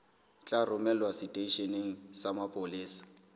tla romelwa seteisheneng sa mapolesa